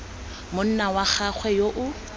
monna wa gagwe yo o